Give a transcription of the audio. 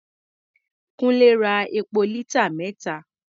Kúńlé ra epo lítà mẹ́ta.